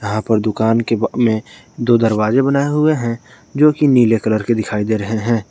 यहां पर दुकान के में दो दरवाजे बनाए हुए हैं जो कि नीले कलर के दिखाई दे रहे हैं।